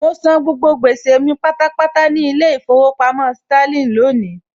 Mọ san gbogbo gbèsè mi pátápátá ní ilé ìfowópamọ́ Sterling lónìí